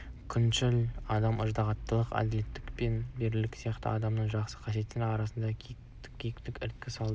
күншіл адам ыждағаттылық әділдік пен берілгендік сияқты адамның жақсы қасиеттерінің арасында кикілжің іріткі салады